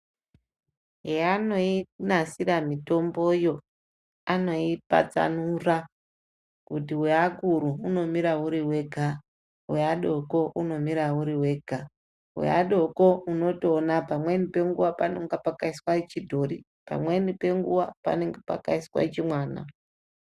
Heanonasira mitomboyo anoipatsanura kuti weakuru unomira uri wega, weadoko unomira uri wega. Weadoko unotoona wega pamweni penguwa unenge wakaiswa chidhori pamweni penguwa panenge pakaiiswa chimwana.